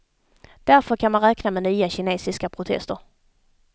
Därför kan man räkna med nya kinesiska protester.